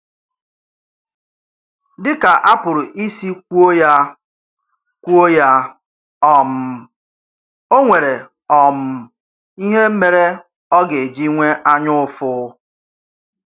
Dị kà a pụrụ isi kwuo yá, kwuo yá, um ọ̀ nwéré um ìhè méré ọ̀ ga-eji nwee ànyàụ́fụ.